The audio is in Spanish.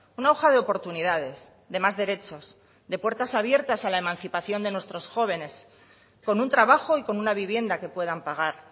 una hoja de oportunidades de más derechos de puertas abiertas a la emancipación de nuestros jóvenes con un trabajo y con una vivienda que puedan pagar